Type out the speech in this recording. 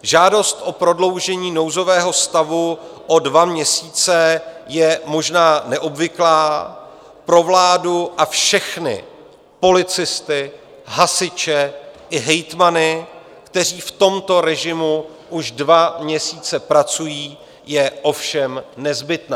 Žádost o prodloužení nouzového stavu o dva měsíce je možná neobvyklá, pro vládu a všechny, policisty, hasiče i hejtmany, kteří v tomto režimu už dva měsíce pracují, je ovšem nezbytná.